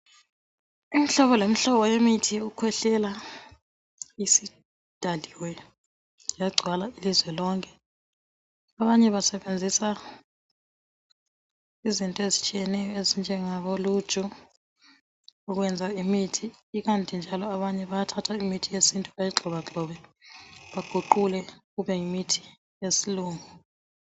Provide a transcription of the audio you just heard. Imihlobo lemihlobo yemithi yokukhwehlela isidaliwe yagcwala ilizwe lonke abanye basebenzisa izinto ezitshiyeneyo ezinjengabo luju ukwenza imithi ikanti njalo abanye bayathatha imithi yesintu bayigxobagxobe baguqule kube yimithi yesilungu.